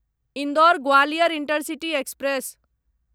Indore Gwalior intercity express